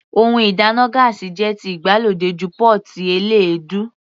Ohun ìdáná gáásì jẹ́ ti ìgbàlódé ju pọ́ọ́tì eléèdú.